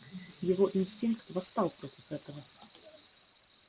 его инстинкт восстал против этого